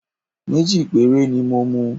Méjì péré ni mo mu